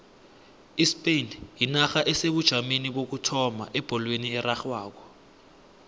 ispain yinarha esebujameni bokuthoma ebholweni erarhwako